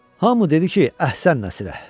Hamı dedi ki, əhsən Nəsirə.